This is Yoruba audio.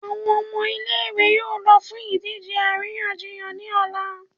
Awọn ọmọ ile-iwe yóò lọ fún idije aríyànjiyàn ni ọla.